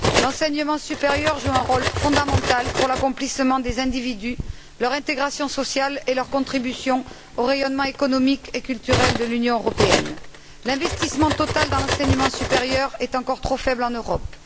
L'enseignement supérieur joue un rôle fondamental pour l'accomplissement des individus, leur intégration sociale et leur contribution au rayonnement économique et culturel de l'Union européenne. L'investissement total dans l'enseignement supérieur est encore trop faible en Europe.